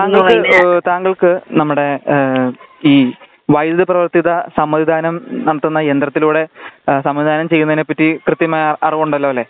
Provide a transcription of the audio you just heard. താങ്കൾക്ക് താങ്കൾക്ക് നമ്മുടെ ഈ വൈദ്യുത പ്രവർത്തിത സമ്മതിദാനം നടത്തുന്ന യന്ത്രത്തിലൂടെ സമ്മതിദാനം ചെയ്യുന്നതിനെ പറ്റി കൃത്യമായ അറിവുണ്ടല്ലോ അല്ലേ